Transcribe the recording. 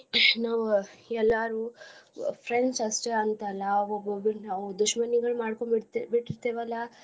ನಾವ್ ಎಲ್ಲಾರು friends ಅಷ್ಟೇ ಅಂತ ಅಲ್ಲಾ ಒಬ್ಬೊಬ್ರಿಗಿ ನಾವು. दुश्मन ಗಳ್ ಮಾಡ್ಕೊಂಡ್ ಬಿಟ್ಟಿರ್ತಿವಲ್ಲಾ.